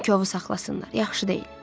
Deyin ki, ovu saxlasınlar, yaxşı deyil.